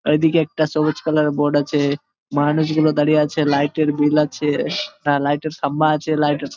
আর এই দিকে একটা সবুজ কালার এর বোর্ড আছে মানুষগুলো দাঁড়িয়ে আছে লাইট এর বিল আছে লাইট এর খাম্বা আছে লাইট এর--